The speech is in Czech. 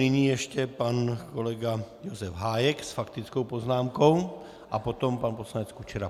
Nyní ještě pan kolega Josef Hájek s faktickou poznámkou a potom pan poslanec Kučera.